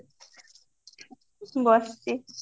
ବସିଚି